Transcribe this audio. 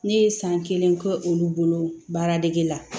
Ne ye san kelen kɛ olu bolo baara dege la